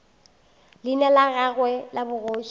leina la gagwe la bogoši